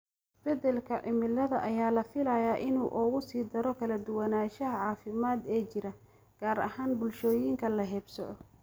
Isbeddelka cimilada ayaa la filayaa inuu uga sii daro kala duwanaanshiyaha caafimaad ee jira, gaar ahaan bulshooyinka la haybsooco.